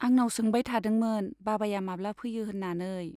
आंनाव सोंबाय थादोंमोन बाबाया माब्ला फैयो होन्नानै।